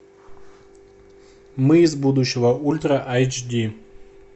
мы из будущего ультра айч ди